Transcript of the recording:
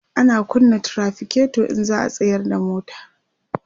ana kunna trafiketo in za'a tsayar da mota